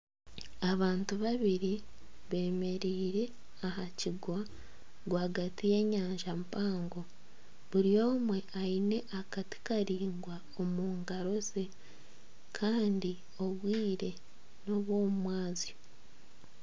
Abantu babiri beemereire aha kigo rwagati y'enyanja mpango buri omwe aine akati karaingwa omu ngaro ze kandi obwire n'obw'omu mwabazyo